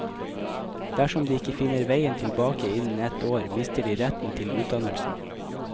Dersom de ikke finner veien tilbake innen ett år, mister de retten til utdannelsen.